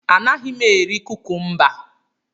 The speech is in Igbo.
Anaghị m eri kukumba.